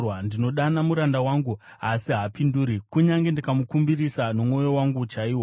Ndinodana muranda wangu, asi haapinduri, kunyange ndikamukumbirisa nomuromo wangu chaiwo.